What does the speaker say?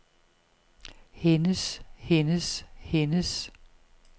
hendes hendes hendes